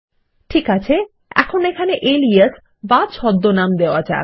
ঠিক আছে এখন এখানে এলিয়াস বা ছদ্মনাম নাম দেওয়া যাক